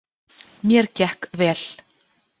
Mér gekk vel.